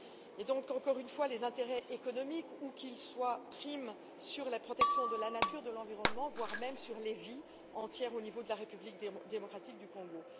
Et donc, encore une fois, les intérêts économiques, où qu'ils soient, priment sur la protection de la nature, de l'environnement, voire sur des vies entières en République démocratique du Congo.